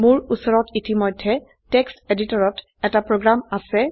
মোৰ উচৰত ইতিমধ্যে টেক্সট এডিটৰত এটি প্ৰোগ্ৰাম আছে